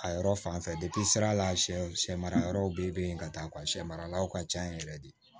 A yɔrɔ fanfɛ sira la sɛ samara yɔrɔw be yen ka taa ka sɛ maralaw ka ca yen yɛrɛ de